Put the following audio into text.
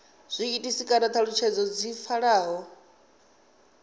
zwiitisi kana thalutshedzo dzi pfalaho